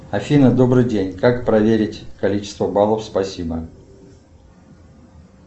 афина добрый день как проверить количество баллов спасибо